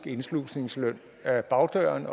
indslusningsløn ad bagdøren